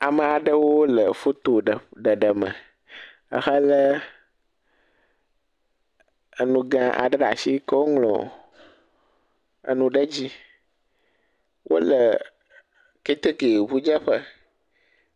Ame aɖewo le foto ɖeƒ ɖeɖe me ehelé enu gã aɖe ɖa shi keo ŋlɔ enu ɖe dzi, wole ketekeŋudzeƒe.